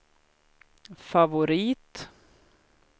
favorit